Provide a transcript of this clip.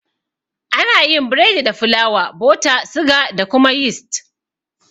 Ana yin biredi da fulawa, bota, suga da kuma yist